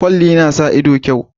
Kwalli na sa ido kyau